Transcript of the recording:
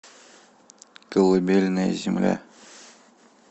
колыбельная земля